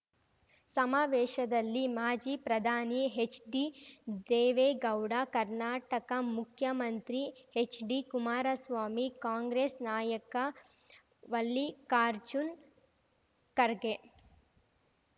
ಸಮಾವೇಶದಲ್ಲಿ ಮಾಜಿ ಪ್ರಧಾನಿ ಹೆಚ್‌ಡಿದೇವೇಗೌಡ ಕರ್ನಾಟಕ ಮುಖ್ಯಮಂತ್ರಿ ಹೆಚ್‌ಡಿಕುಮಾರಸ್ವಾಮಿ ಕಾಂಗ್ರೆಸ್‌ ನಾಯಕ ವಲ್ಲಿಕಾರ್ಜುನ್ ಖರ್ಗೆ